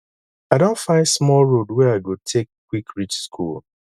i don find small road wey i go take quick reach school